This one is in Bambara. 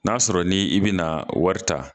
N'a sɔrɔ ni i bina wari ta